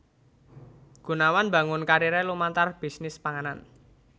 Gunawan mbangun kariré lumantar bisnis panganan